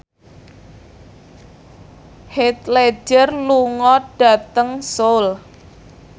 Heath Ledger lunga dhateng Seoul